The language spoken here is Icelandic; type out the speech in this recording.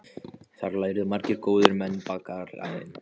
Þar lærðu margir góðir menn bakaraiðn.